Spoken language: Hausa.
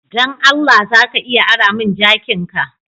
Dan Allah, za ka iya ara mun jakin'ka?